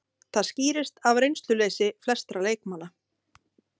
Það skýrist af reynsluleysi flestra leikmanna